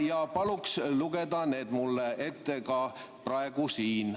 Ja palun lugeda need mulle ette ka praegu siin.